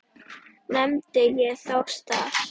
Nefndi ég þá stað.